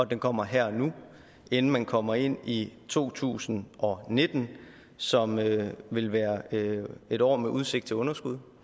den kommer her og nu inden man kommer ind i to tusind og nitten som vil vil være et år med udsigt til underskud